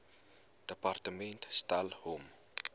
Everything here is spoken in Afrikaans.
departement stel hom